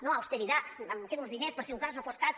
no austeridad em quedo els diners per si un cas no fos cas